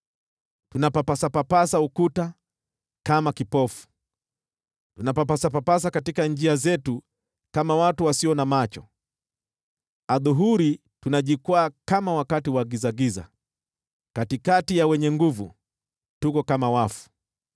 Tunapapasa ukuta kama kipofu, tunapapasa katika njia zetu kama watu wasio na macho. Adhuhuri tunajikwaa kama wakati wa gizagiza; katikati ya wenye nguvu, tuko kama wafu.